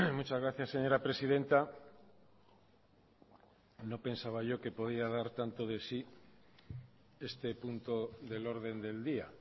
muchas gracias señora presidenta no pensaba yo que podía dar tanto de sí este punto del orden del día